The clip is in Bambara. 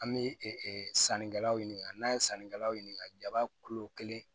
An bɛ sanni kɛlaw ɲininka n'an ye sannikɛlaw ɲininka jaba kelen